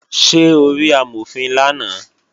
Ṣé o rí Amọ̀fin lánàá?